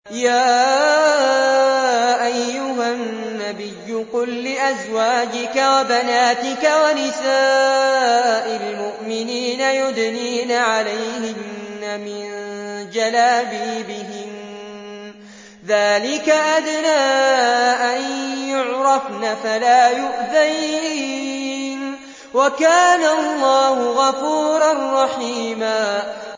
يَا أَيُّهَا النَّبِيُّ قُل لِّأَزْوَاجِكَ وَبَنَاتِكَ وَنِسَاءِ الْمُؤْمِنِينَ يُدْنِينَ عَلَيْهِنَّ مِن جَلَابِيبِهِنَّ ۚ ذَٰلِكَ أَدْنَىٰ أَن يُعْرَفْنَ فَلَا يُؤْذَيْنَ ۗ وَكَانَ اللَّهُ غَفُورًا رَّحِيمًا